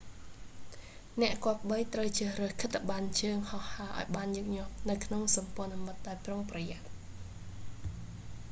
អ្នកគប្បីត្រូវជ្រើសរើសខិត្តប័ណ្ណជើងហោះហើរឲ្យបានញឹកញាប់នៅក្នុងសម្ព័ន្ធមិត្តដោយប្រុងប្រយ័ត្ន